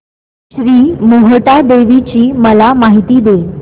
श्री मोहटादेवी ची मला माहिती दे